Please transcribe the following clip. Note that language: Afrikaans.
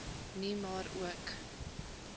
nie maar ook